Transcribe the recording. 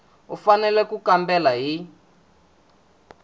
u fanele ku kambela hi